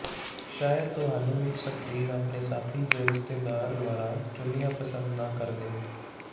ਸ਼ਾਇਦ ਤੁਹਾਨੂੰ ਇੱਕ ਸਕਰੀਨ ਆਪਣੇ ਸਾਥੀ ਜ ਰਿਸ਼ਤੇਦਾਰ ਦੁਆਰਾ ਚੁਣਿਆ ਪਸੰਦ ਨਾ ਕਰਦੇ